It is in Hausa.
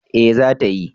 Eh, za ta yi